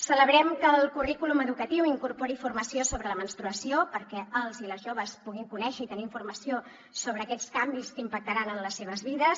celebrem que el currículum educatiu incorpori formació sobre la menstruació perquè els i les joves puguin conèixer i tenir informació sobre aquests canvis que impactaran en les seves vides